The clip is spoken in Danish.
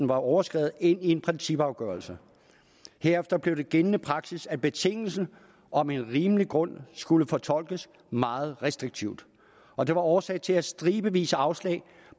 var overskredet ind i en principafgørelse herefter blev det gældende praksis at betingelsen om en rimelig grund skulle fortolkes meget restriktivt og det var årsag til stribevis af afslag